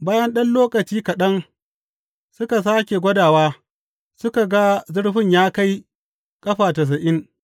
Bayan ɗan lokaci kaɗan suka sāke gwadawa suka ga zurfin ya kai ƙafa tasa’in.